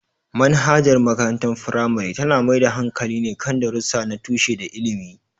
Manhajar makarantar firamare tana mai da hankali ne kan darussa na tushe da ilimi.